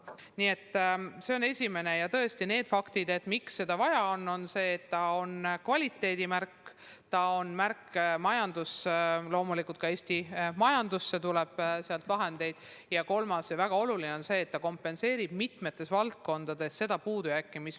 Põhjused, miks seda vaja on, seisnevad asjaolus, et Eesti haridus on kvaliteedimärk, ta on ka märk majanduse jaoks – loomulikult tuleb sealt Eesti majandusse vahendeid – ning kolmandaks on väga oluline seegi, et ta kompenseerib mitmetes valdkondades meie puudujääke.